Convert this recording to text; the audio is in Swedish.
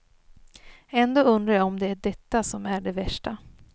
Ändå undrar jag om det är detta som är det värsta.